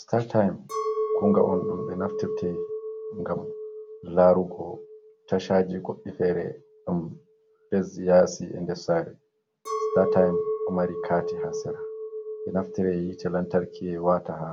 Startim kunga on ɗum ɓe naftirte ngam larugo ta tashaji goɗi fere, ɗam ledi yasi e nder sare, startime ɗo mari carti ha sera, ɗo naftire hitte lantarki wata ha